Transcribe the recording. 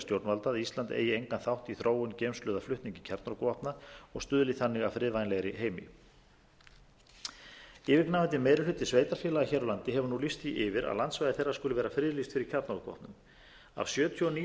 stjórnvalda að ísland eigi engan þátt í þróun geymslu eða flutningi kjarnorkuvopna og stuðli þannig að friðvænlegri heimi yfirgnæfandi meiri hluti sveitarfélaga hér á landi hefur lýst því yfir að landsvæði þeirra skuli vera friðlýst fyrir kjarnorkuvopnum af sjötíu og níu